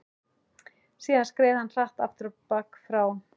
Síðan skreið hann hratt afturábak frá